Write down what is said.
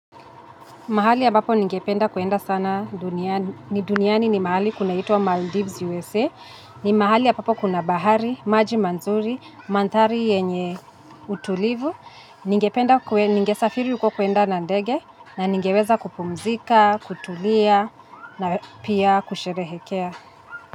Mahali ambapo ninge penda kwenda sana duniani, duniani ni mahali kuna itwa Maldives USA, ni mahali ambapo kuna bahari, maji mazuri, mandhari yenye utulivu, ninge safiri huko kwenda nandege, na ningeweza kupumzika, kutulia, na pia kusherehekea.